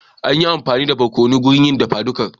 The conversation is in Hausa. An yi amfani da barkonon wurin yin dafa dukar